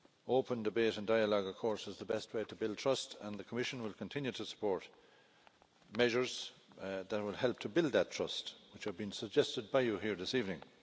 Open debate and dialogue, of course, is the best way to build trust and the Commission will continue to support measures that will help to build that trust, which have been suggested by you here this evening.